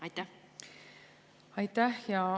Aitäh!